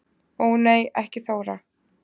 Ó nei ekki Þóra